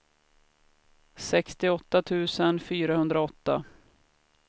sextioåtta tusen fyrahundraåtta